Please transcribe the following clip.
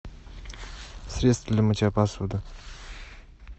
средство для мытья посуды